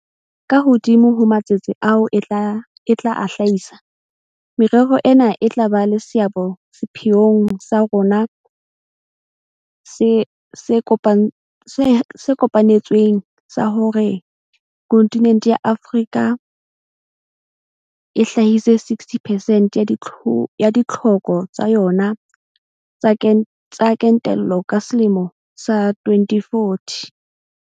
Ka hodimo ho matsetse ao e tla a hlahisa, merero ena e tla ba le seabo sepheong sa rona se kopa netsweng sa hore kontinente ya Afrika e hlahise 60 percent ya ditlhoko tsa yona tsa kentelo ka selemo sa 2040.